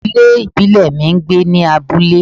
Ìdílé ìbílẹ̀ mi ń gbé ní abúlé